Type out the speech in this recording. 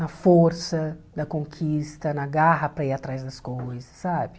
Na força da conquista, na garra para ir atrás das coisas, sabe?